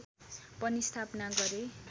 पनि स्थापना गरे